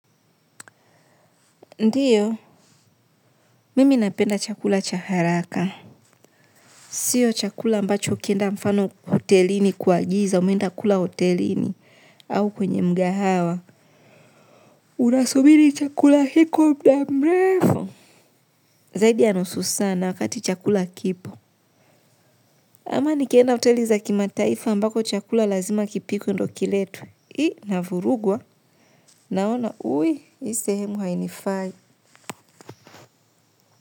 Ndio, mimi napenda chakula cha haraka. Sio chakula ambacho kienda mfano hotelini kuagiza, umenda kula hotelini au kwenye mkahawa. Unasubiri chakula hicho kwa muda mrefu. Zaidi ya nusu saa na wakati chakula kipo. Ama nikenda hoteli za kimataifa ambako chakula lazima kipikwe ndo kiletu. Hii navurugwa. Naona, ui, hii sehemu hainifai.